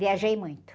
Viajei muito.